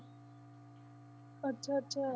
ਅੱਛਾ ਅੱਛਾ।